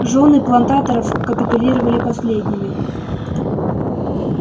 жёны плантаторов капитулировали последними